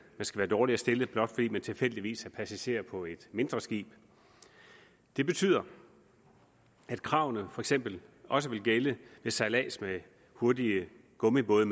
skal være dårligere stillet blot fordi man tilfældigvis er passager på et mindre skib det betyder at kravene for eksempel også vil gælde ved sejlads med hurtige gummibåde